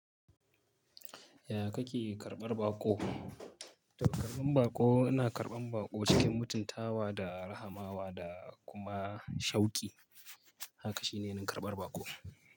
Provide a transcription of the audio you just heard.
Ya kake karɓar baƙo? To karɓan baƙo ina karɓan baƙo cikin mutuntawa da rahamawa da kuma shauki. Haka shine nakarɓar baƙo.